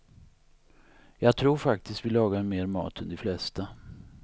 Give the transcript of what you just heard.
Jag tror faktiskt vi lagar mer mat än de flesta.